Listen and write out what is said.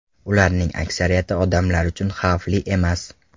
Ularning aksariyati odamlar uchun xavfli emas.